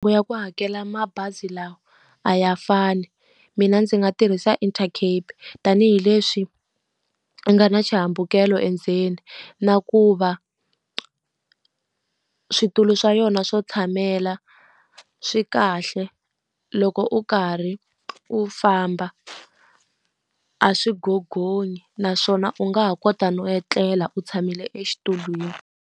Ku ya ku hakela mabazi lawa a ya fani. Mina ndzi nga tirhisa Intercape tanihileswi nga na xihambukelo endzeni. Na ku va switulu swa yona swo tshamela, swi kahle, loko u karhi u famba a swi gogonyi. Naswona u nga ha kota no etlela u tshamile exitulwini.